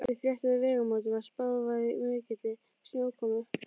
Við fréttum á Vegamótum að spáð væri mikilli snjókomu.